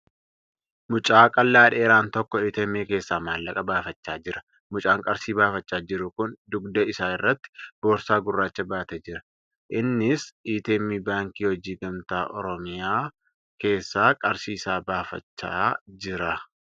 Mucaa qallaa dheeraan tokko ATM keessaa maallaqa baafachaa jira. Mucaan qarshii baafachaa jiru kun dugda isaa irratti boorsaa gurraacha baatee jira. Innis ATM Baankii Hojii Gamtaa Oromiyaa keessaa qarshii isaa baafachaa jira.